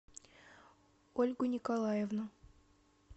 ольгу николаевну